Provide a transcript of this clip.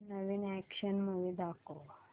नवीन action movie दाखव